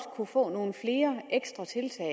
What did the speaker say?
kunne få nogle flere ekstra tiltag